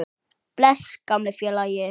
Bless, gamli félagi.